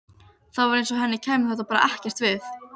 Það var eins og henni kæmi þetta bara ekkert við.